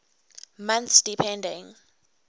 months depending